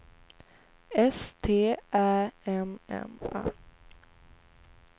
S T Ä M M A